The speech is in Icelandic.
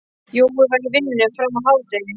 Jói var í vinnunni fram að hádegi.